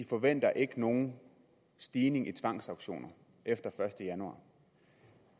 forventer nogen stigning i tvangsauktioner efter